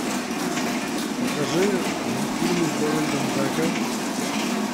покажи мультфильмы с дональдом даком